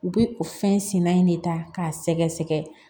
U bɛ o fɛn sina in de ta k'a sɛgɛsɛgɛ